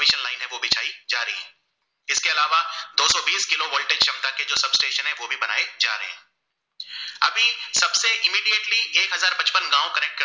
एक हजार पचपन गाव